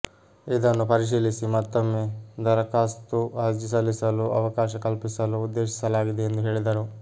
ಇದನ್ನು ಪರಿಶೀಲಿಸಿ ಮತ್ತೊಮ್ಮೆ ದರಖಾಸ್ತು ಅರ್ಜಿ ಸಲ್ಲಿಸಲು ಅವಕಾಶ ಕಲ್ಪಿಸಲು ಉದ್ದೇಶಿಸಲಾಗಿದೆ ಎಂದು ಹೇಳಿದರು